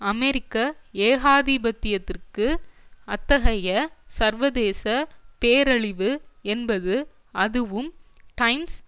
அமெரிக்க ஏகாதிபத்தியத்திற்கு அத்தகைய சர்வதேச பேரழிவு என்பது அதுவும் டைம்ஸ்